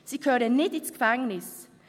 Sie gehören nicht ins Gefängnis.